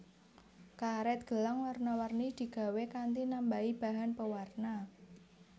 Karet gelang warna warni digawé kanthi nambahi bahan pewarna